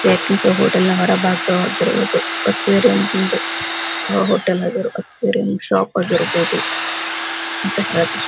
hotel ನ ಹೊರಭಾಗವಾಗಿರುವುದು aquarium ನಿಂದ ಹೋಟೆಲ್ ನ ಎದುರು ಅಕ್ವೇರಿಯಂ ಶಾಪ್ ಆಗಿರ್ಬಹುದು ಅಂತ ಹೇಳಕ್ --